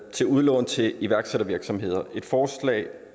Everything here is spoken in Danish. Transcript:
til udlån til iværksættervirksomheder et forslag